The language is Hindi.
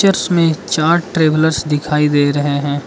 इसमें चार ट्रैवलर्स दिखाई दे रहे हैं।